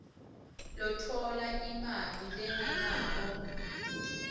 lotfola imali lengenako